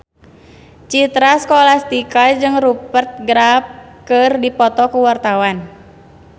Citra Scholastika jeung Rupert Graves keur dipoto ku wartawan